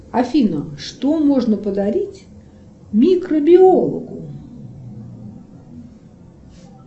афина что можно подарить микробиологу